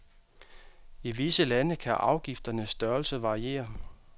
I visse lande kan afgifternes størrelse variere.